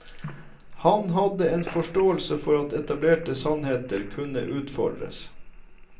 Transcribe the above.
Han hadde en forståelse for at etablerte sannheter kunne utfordres.